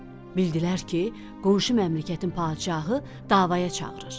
Bildilər ki, qonşu məmləkətin padşahı davaya çağırır.